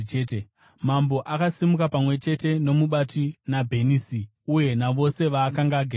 Mambo akasimuka, pamwe chete nomubati naBhenisi uye navose vaakanga agere navo.